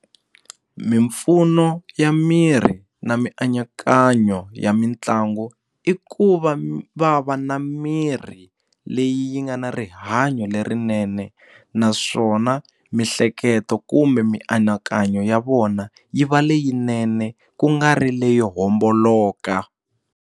Mimpfuno ya miri na mianakanyo ya mitlangu i ku va va va na mirhi leyi yi nga na rihanyo rihanyo lerinene naswona mihleketo kumbe mianakanyo ya vona yi va leyinene ku nga ri leyo homboloka.